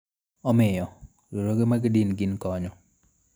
Omiyo, riwruoge mag din gin konyo.